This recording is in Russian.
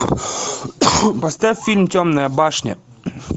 поставь фильм темная башня